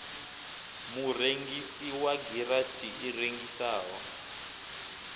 murengisi wa garatshi i rengisaho